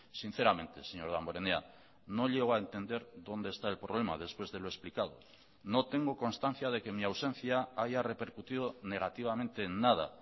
sinceramente señor damborenea no llego a entender dónde está el problema después de lo explicado no tengo constancia de que mi ausencia haya repercutido negativamente en nada